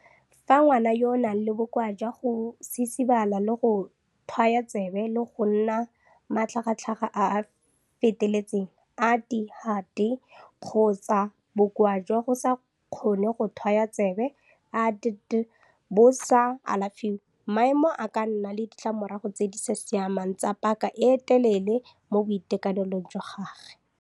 Fa ngwana yo a nang le Bokoa jwa go Sisibala le go Tlhwaya Tsebe le go nna le Matlhagatlhaga a a Feteletseng, ADHD, kgotsa Bokoa jwa go sa Kgone go Tlhwaya Tsebe, ADD, bo sa alafiwe, maemo a ka nna le ditlamorago tse di sa siamang tsa paka e telele mo boitekanelong jwa gagwe.